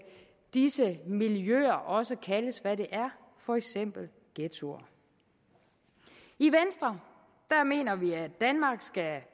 disse miljøer også kaldes hvad de er for eksempel ghettoer i venstre mener vi at danmark skal